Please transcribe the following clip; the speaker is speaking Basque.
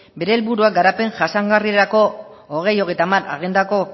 bere helburua garapen jasangarrirako bi mila hogeita hamar agendako